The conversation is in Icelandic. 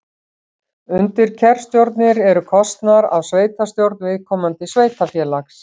Undirkjörstjórnir eru kosnar af sveitastjórn viðkomandi sveitarfélags.